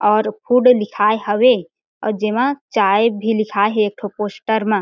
और फ़ूड लिखाए हवे अउ जेमा चाय भी लिखाए हे एक ठो पोस्टर मा।